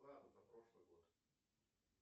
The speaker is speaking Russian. плата за прошлый год